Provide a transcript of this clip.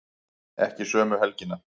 Ekki sömu helgina.